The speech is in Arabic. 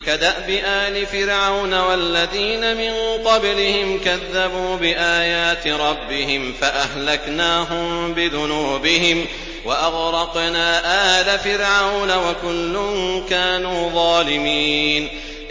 كَدَأْبِ آلِ فِرْعَوْنَ ۙ وَالَّذِينَ مِن قَبْلِهِمْ ۚ كَذَّبُوا بِآيَاتِ رَبِّهِمْ فَأَهْلَكْنَاهُم بِذُنُوبِهِمْ وَأَغْرَقْنَا آلَ فِرْعَوْنَ ۚ وَكُلٌّ كَانُوا ظَالِمِينَ